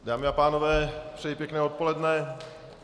Dámy a pánové, přeji pěkné odpoledne.